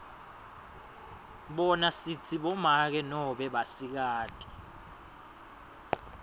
bona sitsi bomake noma basikati